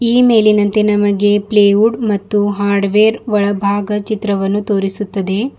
ಈ ಮೇಲಿನಂತೆ ನಮಗೆ ಪ್ಲೇ ವುಡ್ ಮತ್ತು ಹಾರ್ಡ್ ವೇರ್ ಒಳಭಾಗ ಚಿತ್ರವನ್ನು ತೋರಿಸುತ್ತದೆ.